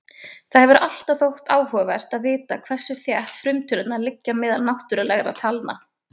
Það hefur alltaf þótt áhugavert að vita hversu þétt frumtölurnar liggja meðal náttúrlegra talna.